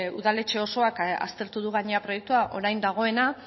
udaletxe osoak aztertu du gainera proiektua orain dagoena